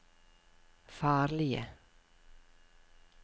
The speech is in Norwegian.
farlige